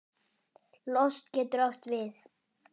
Lost getur átt við